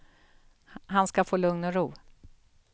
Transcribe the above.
Han ska få lugn och ro.